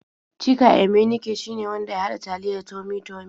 Chika Emenike shine wanda ya haɗa taliyar Tummy-Tummy.